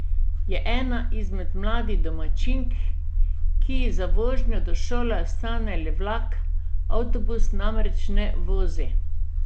Je ena izmed mladih domačink, ki ji za vožnjo do šole ostane le vlak, avtobus namreč ne vozi.